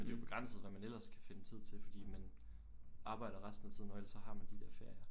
Men det er jo begrænset hvad man ellers kan finde tid til fordi man arbejder resten af tiden og ellers så har man de der ferier